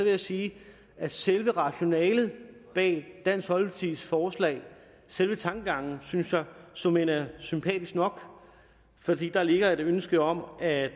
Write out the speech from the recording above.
jeg sige at selve rationalet bag dansk folkepartis forslag selve tankegangen synes jeg såmænd er sympatisk nok fordi der ligger et ønske om at